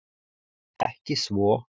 Ekki svo